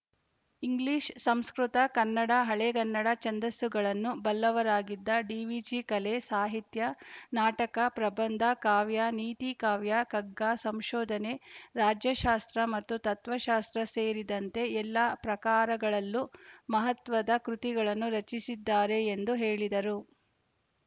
English Sanskrit Kannada Halegannada ಛಂದಸ್ಸುಗಳನ್ನು ಬಲ್ಲವರಾಗಿದ್ದ ಡಿವಿಜಿ ಕಲೆ ಸಾಹಿತ್ಯ ನಾಟಕ ಪ್ರಬಂಧ ಕಾವ್ಯ ನೀತಿಕಾವ್ಯ ಕಗ್ಗ ಸಂಶೋಧನೆ ರಾಜ್ಯಶಾಸ್ತ್ರ ಮತ್ತು ತತ್ವಶಾಸ್ತ್ರ ಸೇರಿದಂತೆ ಎಲ್ಲ ಪ್ರಾಕಾರಗಳಲ್ಲೂ ಮಹತ್ವದ ಕೃತಿಗಳನ್ನು ರಚಿಸಿದ್ದಾರೆ ಎಂದು ಹೇಳಿದರು